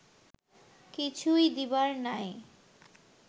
কিছুই দিবার নাই